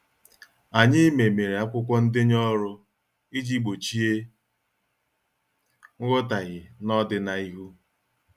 Anyị memere akwụkwọ ndenye ọrụ iji gbochie nghotaghie n' odina ihu.